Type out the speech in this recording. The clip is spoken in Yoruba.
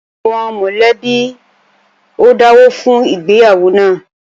Àwọn mọ̀lẹ́bí ó dáwọ́ fún ìgbéyàwó náà